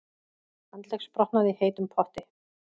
Handleggsbrotnaði í heitum potti